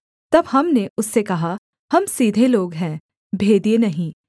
तब हमने उससे कहा हम सीधे लोग हैं भेदिए नहीं